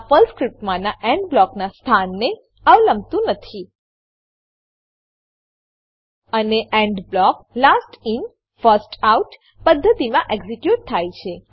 આ પર્લ સ્ક્રીપ્ટમાનાં એન્ડ બ્લોકનાં સ્થાનને અવલંબતું નથી અને end block last in first out પદ્ધતિમાં એક્ઝીક્યુટ થાય છે